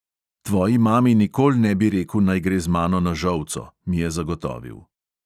"Tvoji mami nikol ne bi reku, naj gre z mano na žolco," mi je zagotovil.